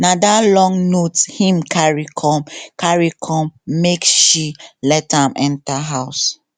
na that long note him carry come carry come make she let am enter house